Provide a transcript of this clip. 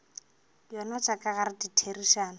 yona tša ka gare ditherišano